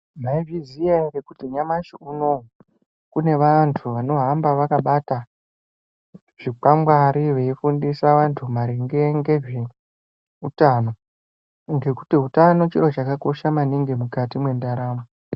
Mai zviziya ere kuti nyamashi unowu kune vantu vano hamba vakabata zvi kwangwari vei fundisa vantu maringe ngezve utano ngekuti utano chiro chaka kosha maningi mukati mwe ndaramo.